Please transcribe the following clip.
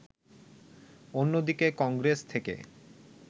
অন্যদিকে কংগ্রেস থেকে